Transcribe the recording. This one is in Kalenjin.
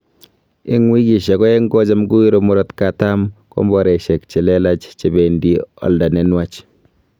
Ing wikisyek aeng kocham kowiru murotkatam komboraisyek che lelaach che bendi olda ne nwach